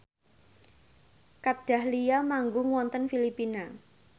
Kat Dahlia manggung wonten Filipina